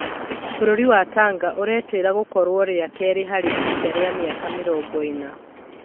Bũrũri wa Tanga ũretĩĩra gũkorwo rĩa kerĩ harĩ ihinda rĩa mĩaka mĩrongoĩna.